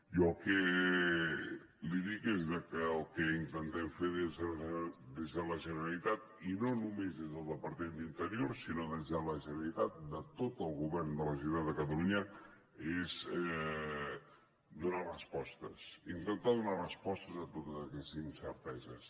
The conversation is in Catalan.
jo el que li dic és que el que intentem fer des de la generalitat i no només des del departament d’interior sinó des de la generalitat de tot el govern de la generalitat de catalunya és donar respostes intentar donar respostes a totes aquestes incerteses